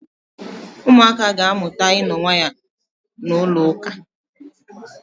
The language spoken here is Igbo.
Ụmụaka ga-amụta ịno nwayọọ na ụlọụka.